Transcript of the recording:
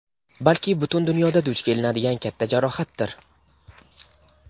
balki butun dunyoda duch kelinadigan katta jarohatdir.